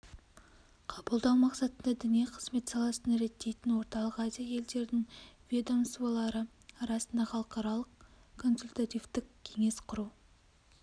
қабылдау мақсатында діни қызмет саласын реттейтін орталық азия елдерінің ведомсволары арасында халықаралық консультативтік кеңес құру